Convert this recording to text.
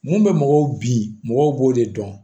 Mun bɛ mɔgɔw bin mɔgɔw b'o de dɔn